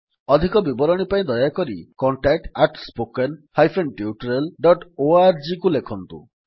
ଅଧିକ ବିବରଣୀ ପାଇଁ ଦୟାକରି contactspoken tutorialorgକୁ ଲେଖନ୍ତୁ